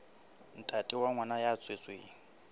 ntate wa ngwana ya tswetsweng